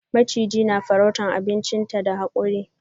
Maciji na farrauta abinchinta da hakuri.